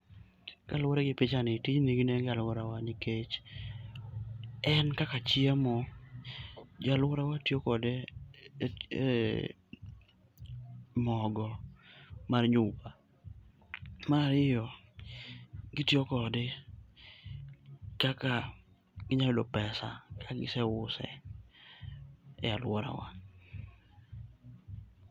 Kaluwore gi pichani, tijni nigi nengo e alworawa nikech en kaka chiemo. Jo alworawa tiyo kode e mogo mar nyuka. Marariyo, gitiyo kode kaka ginya yudo pesa e ka giseuse e alworawa.